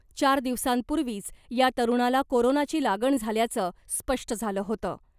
चार दिवसांपूर्वीच या तरूणाला कोरोनाची लागण झाल्याचं स्पष्ट झालं होतं .